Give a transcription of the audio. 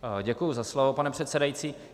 Děkuji za slovo, pane předsedající.